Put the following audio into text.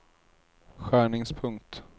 skärningspunkt